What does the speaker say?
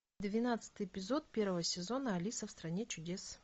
двенадцатый эпизод первого сезона алиса в стране чудес